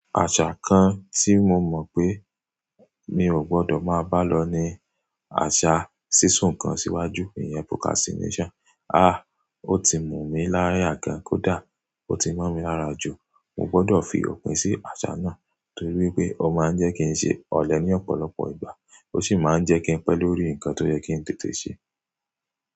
Àṣà kan tí mo mọ̀ pé mi ò gbọdọ̀ máa bá lọ ní àṣà sísún nkan síwájú, ìyẹn procrastination. Ah! Ó ti mú mi láya gan kódá, ó ti mọ́ mi lára jù. Mo gbọdọ̀ fi òpin sí àṣà náà torí pé ó máa ń jẹ́ kí n ṣe ọ̀lẹ ní ọ̀pọ̀lọpọ̀ ìgbà, ó sì máa ń jẹ́ kí n pẹ́ lórí nǹkan tó yẹ́ kí n tètè ṣe.